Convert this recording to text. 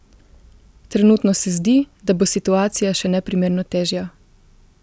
Trenutno se zdi, da bo situacija še neprimerno težja.